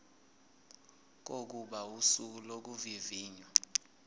kokuba usuku lokuvivinywa